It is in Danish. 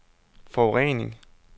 forurening